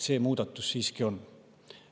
See muudatus siiski oleks.